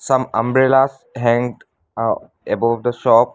some umbrellas hanged aa above the shop.